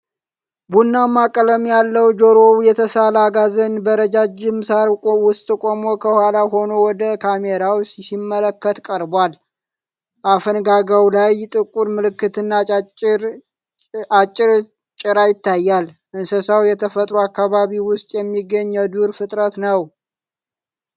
ቡናማ ቀለም ያለው፣ ጆሮው የተሳለ አጋዘን በረዣዥም ሳር ውስጥ ቆሞ ከኋላ ሆኖ ወደ ካሜራው ሲመለከት ቀርቧል። አፈንጋጋው ላይ ጥቁር ምልክትና አጭር ጭራ ይታያል። እንስሳው የተፈጥሮ አካባቢው ውስጥ የሚገኝ የዱር ፍጥረት ነው።